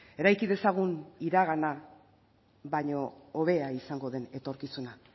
eraiki dezagun iragana baino hobea izango den etorkizuna